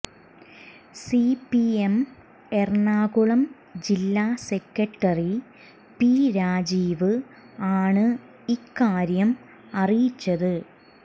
CPM Ernakulam ജില്ലാ secretary P Rajeev ആണ് ഇക്കാര്യം അറിയിച്ചത്